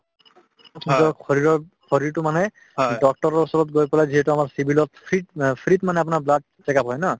নিজৰ শৰীৰক শৰীৰটো মানে doctor ৰ ওচৰত গৈ পেলাই যিহেতু আমাৰ civil ত free ত অ free ত মানে আপোনাৰ blood check up হয় ন